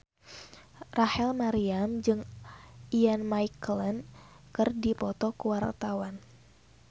Rachel Maryam jeung Ian McKellen keur dipoto ku wartawan